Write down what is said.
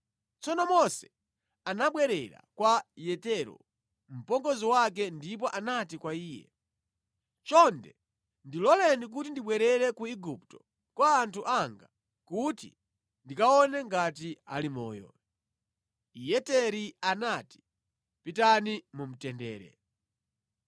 Tsono Mose anabwerera kwa Yetero, mpongozi wake ndipo anati kwa Iye, “Chonde ndiloleni kuti ndibwerere ku Igupto kwa anthu anga kuti ndikaone ngati ali moyo.” Yeteri anati, “Pitani mu mtendere.”